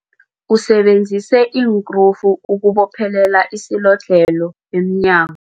Usebenzise iinkrufu ukubophelela isilodlhelo emnyango.